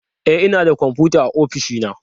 E, ina da kwamfuta a ofishi na